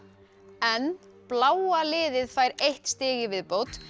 en bláa liðið fær eitt stig í viðbót